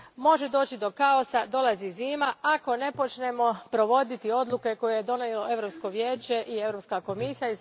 Može doći do kaosa, dolazi zima, ako ne počnemo provoditi odluke koje je donijelo Europsko vijeće i Europska komisija.